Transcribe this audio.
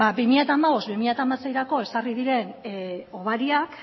bi mila hamabost bi mila hamaseirako ezarri diren hobariak